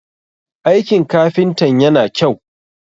aikin kafintan yana kyau?